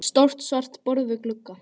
Stórt svart borð við glugga.